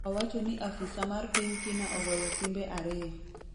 owacho ni afisa mar piny kina ogoyo simbe ariyo